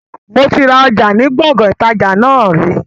Moti ra ọjà ni Gbọ̀ngán ìtajà náà ri